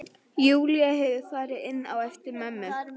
Júlía hefur farið inn á eftir mömmu.